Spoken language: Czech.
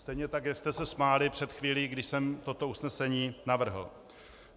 Stejně tak jak jste se smáli před chvílí, kdy jsem toto usnesení navrhl.